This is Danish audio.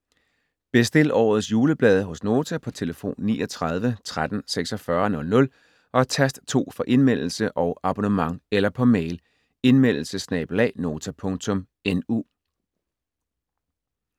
Bestil årets juleblade hos Nota på telefon 39 13 46 00 og tast 2 for Indmeldelse og abonnement eller på mail: indmeldelse@nota.nu